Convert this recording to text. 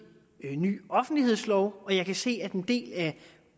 en ny offentlighedslov og jeg kan se at en del af